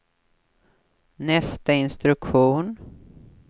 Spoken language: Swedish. nästa instruktion